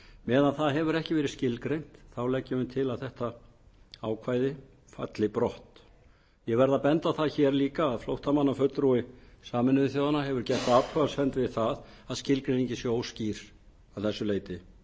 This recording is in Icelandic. meðan það hefur ekki verið skilgreint leggjum við til að þetta ákvæði falli brott ég verð að benda á það líka að flóttamannafulltrúi sameinuðu þjóðanna hefur athugasemd við það að skilgreiningin sé óskýr að þessu leyti